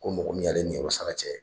Ko mɔgɔ min y'a le niyɔrɔ sara cɛ